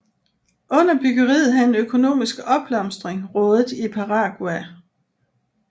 Under byggeriet havde en økonomisk opblomstring rådet i Paraguay